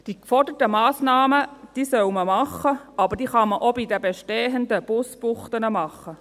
Die geforderten Massnahmen soll man treffen, aber die kann man auch bei den bestehenden Busbuchten machen.